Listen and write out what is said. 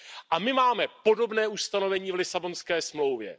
A my máme podobné ustanovení v Lisabonské smlouvě.